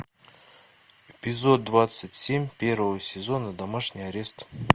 эпизод двадцать семь первого сезона домашний арест